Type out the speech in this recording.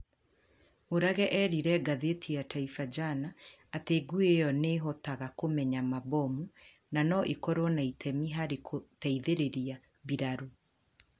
Murage erire ngathĩti ya Taifa Jana atĩ ngui ĩyo nĩ ĩhotaga kũmenya mabomu na no ĩkorũo na itemi harĩ kũteithereria mbiraru